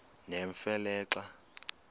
nemfe le xa